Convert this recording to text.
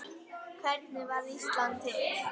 Hvernig varð Ísland til?